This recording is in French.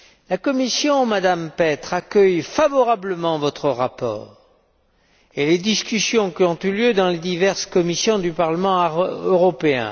La Commission, Madame Petre, accueille favorablement votre rapport et les discussions qui ont eu lieu dans les diverses commissions du Parlement européen.